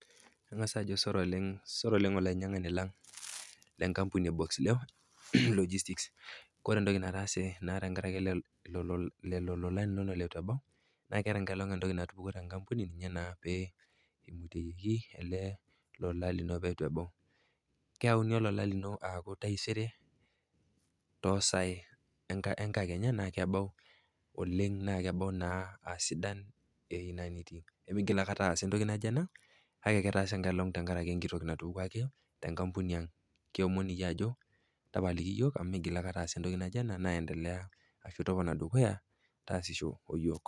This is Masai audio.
Ang'as taa ajo sore oleng, sore oleng olainyang'ani lang le nkampuni e Boxleo logistics. Kore entoki nataasa tenkarake lelo lolan linono letu ebau, naa eata nkaiolong entoki natupukuo tenkampuni, ninye naa pee eimutiyieki ele lola lino pee eitu ebau. Keyaunu olola lino taisere too sai enkakenya naa kebau oleng naa kebau a sidan oleng ewei nitii nemeigil aikata aasa entoki naijo ena, kake etaase nkaiolong tenkarake enkiti toki natupukuo ake te nkampuni ang. Kiomon iyie ajo tapaliki iyook amu meigil aikata aasa entoki naijo ena naa iendelea ashu topona dukuya taasisho o yook.